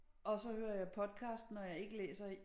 Og så hører jeg podcast når jeg ikke læser i